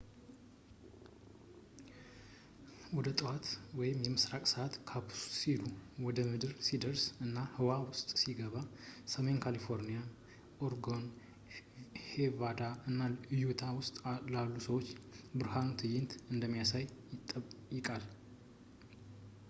ወደ 5ጠዋት የምስራቅ ሰዓት ካፕሱሉ ወደ ምድር ሲደርስ እና ህዋ ውስጥ ሲገባ፣ ሰሜን ካሊፎርኒያ፣ ኦሬጎን፣ ኔቫዳ እና ዩታ ውስጥ ላሉ ሰዎች የብርሃን ትዕይንት እንደሚያሳይ ይጠበቃል